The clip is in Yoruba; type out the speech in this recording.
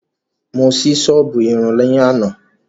Mo sí sọ́ọ̀bù Irun ní àná